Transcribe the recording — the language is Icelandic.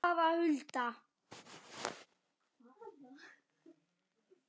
Eða hvað, Hulda?